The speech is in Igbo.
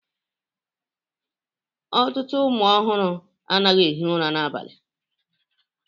Ọtụtụ ụmụ ọhụrụ anaghị ehi ụra n'abalị